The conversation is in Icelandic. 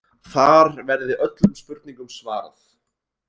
Þar verði öllum spurningum svarað